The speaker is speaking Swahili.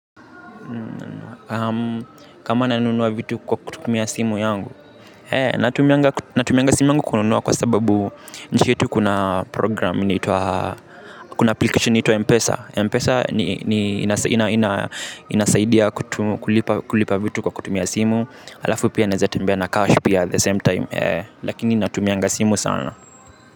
Kama nanunua vitu kwa kutumia simu yangu hee natumia natumia simu yangu kununua kwa sababu nchi yetu kuna program. Kuna application inaitwa Mpesa Mpesa inasaidia kulipa vitu kwa kutumia simu. Alafu pia naweza tembea na cash pia at the same time. Lakini natumia simu sana.